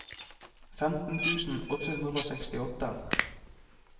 femten tusen åtte hundre og sekstiåtte